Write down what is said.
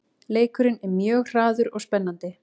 Leikurinn er mjög hraður og spennandi